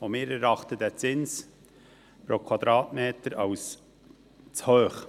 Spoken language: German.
Auch wir erachten den Zins pro Quadratmeter als zu hoch.